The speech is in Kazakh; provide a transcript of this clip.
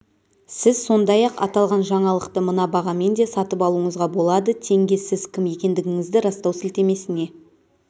сіз сондай-ақ аталған жаңалықты мына бағамен де сатып алуыңызға болады теңге сіз кім екендігіңізді растау сілтемесіне